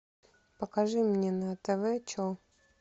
покажи мне на тв че